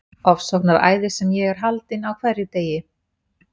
Ofsóknaræðis sem ég er haldinn á hverjum degi.